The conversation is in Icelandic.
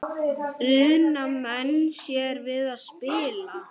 Una menn sér við spil.